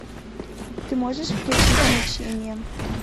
ты можешь включить мучение